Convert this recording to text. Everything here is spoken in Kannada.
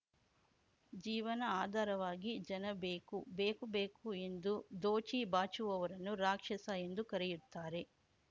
ಜೀವನ ಆಧಾರವಾಗಿ ಜನಬೇಕು ಬೇಕು ಬೇಕು ಎಂದು ದೋಚಿ ಬಾಚುವವರನ್ನು ರಾಕ್ಷಸ ಎಂದು ಕರೆಯುತ್ತಾರೆ